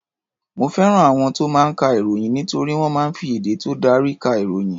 Mo fẹ́ràn àwọn tó máa ń ka ìròyìn nítorí wọ́n máa ń fi èdè tó dári ka ìròyìn.